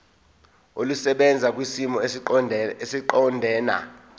olusebenza kwisimo esiqondena